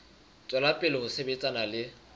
tswela pele ho sebetsana le